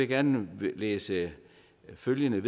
gerne læse følgende